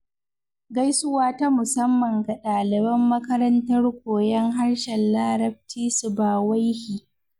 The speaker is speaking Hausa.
Gaisuwa ta musamman ga ɗaliban makarantar koyon harshen larabci Sibawaihi.